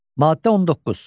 Maddə 19.